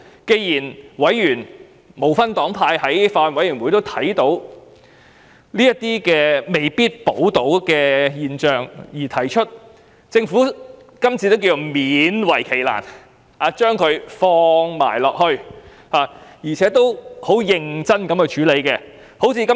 既然法案委員會內不分黨派的委員也看到有人未必受保護，政府今次便勉為其難，提出《條例草案》的修正案，認真處理問題。